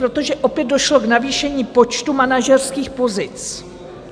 Protože opět došlo k navýšení počtu manažerských pozic.